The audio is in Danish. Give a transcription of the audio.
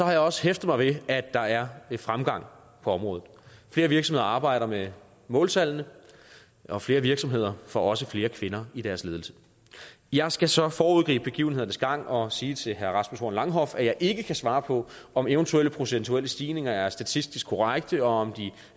jeg også hæftet mig ved at der er fremgang på området flere virksomheder arbejder med måltallene og flere virksomheder får også flere kvinder i deres ledelse jeg skal så foregribe begivenhedernes gang og sige til herre rasmus horn langhoff at jeg ikke kan svare på om eventuelle procentuelle stigninger er statistisk korrekte og om de